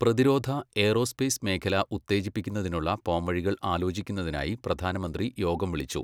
പ്രതിരോധ, ഏറോസ്പേസ് മേഖല ഉത്തേജിപ്പിക്കുന്നതിനുള്ള പോംവഴികള് ആലോചിക്കുന്നതിനായി പ്രധാനമന്ത്രി യോഗം വിളിച്ചു